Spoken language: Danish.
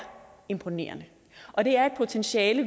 imponerende og det er et potentiale